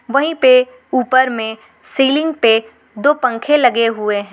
वहीं पे ऊपर में सीलिंग पे दो पंखे लगे हुए हैं।